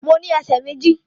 Mo ní ẹsẹ̀ méjì